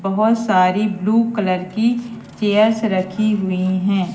बहोत सारी blue colour की चेयर्स रखी हुइ हैं।